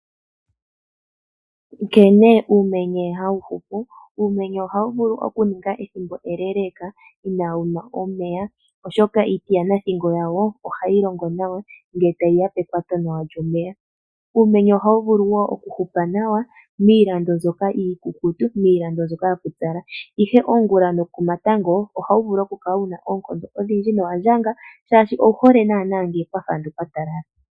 Nkene uumenye ha wu hupu. Uumenye oha wu vulu okuninga ethimbo eleeleka ina wu nwa omeya oshoka iiti yanathingo wayo oha yi longo nawa nge tayi ya pekwato nawa lyomeya. Uumenye oha wu vulu woo okuhupa nawa miilando mbyoka iikukutu, miilando mbyoka yapyupyala. Ihe ongula nokomatango oha wu vulu okala wuna eenkondo odhindji nowandjanga shashi owu hole nana nge kwafa nge kwa talala.